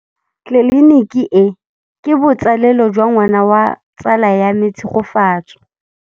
Tleliniki e, ke botsalêlô jwa ngwana wa tsala ya me Tshegofatso.